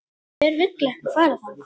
Hver vill ekki fara þangað?